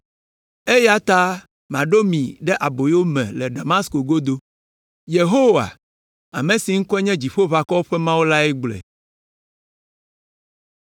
eya ta maɖo mi ɖe aboyo me le Damasko godo.” Yehowa, ame si ŋkɔe nye Dziƒoʋakɔwo ƒe Mawu lae gblɔe.